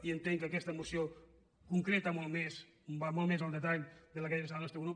i entenc que aquesta moció concreta molt més va molt més al detall que la del nostre grup